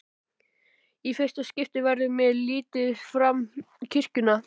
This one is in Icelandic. Í fyrsta skipti verður mér litið fram kirkjuna.